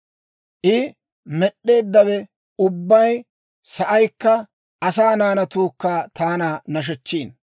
I med'd'eeddawe ubbay, sa'aykka asaa naanatuukka taana nashechchiino.